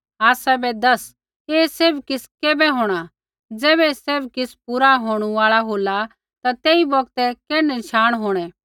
आसाबै दस ऐ सैभ किछ़ कैबै होंणा ज़ैबै ऐ सैभ किछ़ पूरा होंणू आल़ा होला ता तेई बौगतै कैण्ढै नशाण होंणै